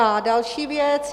A další věc.